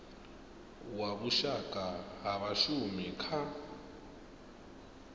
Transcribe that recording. wa vhushaka ha vhashumi kha